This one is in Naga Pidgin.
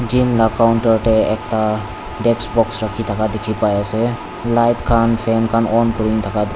pink la counter te ekta desk box rakhi thaka dikhi pai ase light khan fan khan on kurin thaka d--